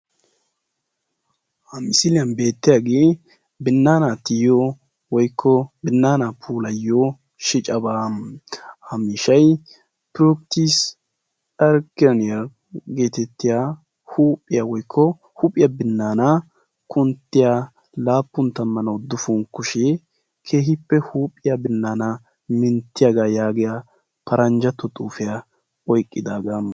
Ha misiliyaan beettiyaagee binnaana tiyiyoo woykko binaanaa puulayiyoo shicabaa. ha miishshay turkkis ayreniyaa getettiyaa huuphphiyaa woykko huuphphiyaa binaanan kunttiyaa laappun tammanne uduppun kushshiyaa keehippe huuphphiyaa binaana minttiyaagaa yaagiyaa paranjjatto xuufiyaa oyqqidaagaa.